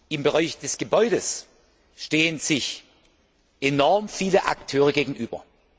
Im Bereich der Gebäude stehen sich enorm viele Akteure gegenüber.